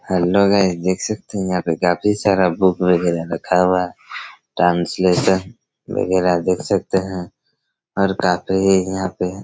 hello guys देख सकते है यहाँ पे काफी सारा बुक वगैरा रखा हुआ ट्रांसलेशन वगैरा देख सकते है और काफी ही यहाँ पे--